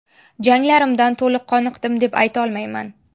Janglarimdan to‘liq qoniqdim deb aytolmayman.